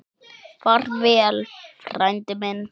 Far vel, frændi minn.